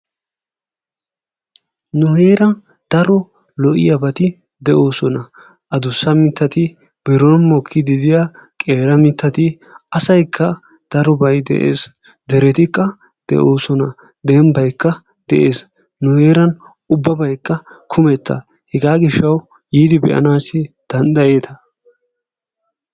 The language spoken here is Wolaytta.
Nu heeran faro lo"iyaabati de"oosona, addussa mittati biron mokkide diyaa qeera mittati asaykka darobay de'ees deretikka de'oosona dembbaykka de'ees. Nu heeran ubbabaykka kummetta hega gishshawu yiidi be'anaassi dandayeetta.